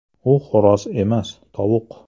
U xo‘roz emas, tovuq!